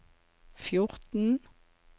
fjorten